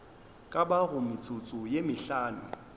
ka bago metsotso ye mehlano